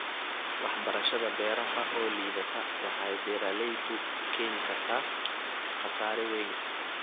Waxbarashada beeraha oo liidata waxay beeralayda u keeni kartaa khasaare weyn.